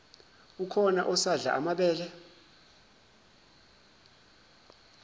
ukhona usadla amabele